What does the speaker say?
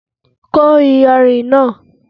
Kó iyanrìn náà!